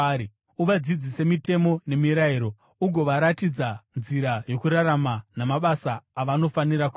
Uvadzidzise mitemo nemirayiro, ugovaratidza nzira yokurarama namabasa avanofanira kuita.